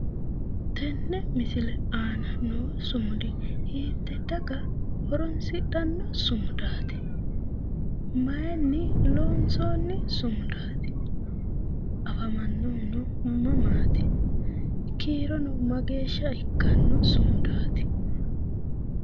tenne misile aana noo sumudi hiitte daga horonsidhanno sumudaatti? mayiinnni loonsoonni sumudaati? afamannohuno mamaati? kiirono mageeshsha ikkanno sumudaati?